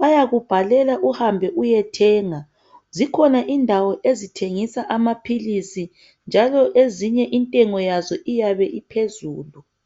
bayakubhalela uhambe uyethenga. Zikhona indawo ezithengisa amaphilisi, njalo ezinye intengo yazo iyabe iphezulu.